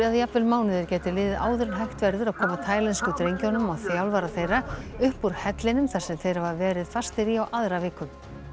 jafnvel mánuðir gætu liðið áður en hægt verður að koma taílensku drengjunum og þjálfara þeirra upp úr hellinum þar sem þeir hafa verið fastir í á aðra viku